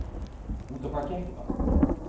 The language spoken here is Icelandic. Út á hvað gekk þetta?